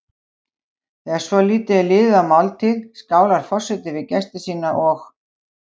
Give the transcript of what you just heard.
Þegar svolítið er liðið á máltíð skálar forseti við gesti sína og